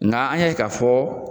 Nga an ye k'a fɔ